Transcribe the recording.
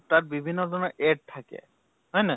তাত বিভিন্ন জনৰ add থাকে, হয় নহয়?